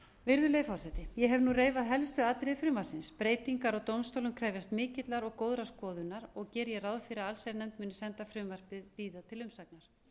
virðulegi forseti ég hef nú reifað helstu atriði frumvarpsins breytingar á dómstólum krefjast mikillar og góðrar skoðunar og geri ég ráð fyrir að allsherjarnefnd muni senda frumvarpið síðar til umsagnar